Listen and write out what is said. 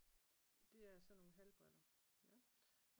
Det er sådan nogle hal briller